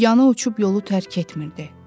Yana uçub yolu tərk etmirdi.